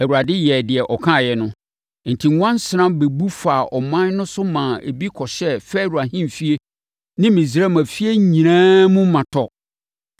Awurade yɛɛ deɛ ɔkaeɛ no, enti nwansena bɛbu faa ɔman no so maa ebi kɔhyɛɛ Farao ahemfie ne Misraim afie nyinaa mu ma tɔ.